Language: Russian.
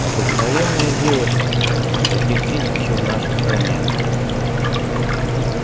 обыкновенная девчонка каких тысячи в нашей стране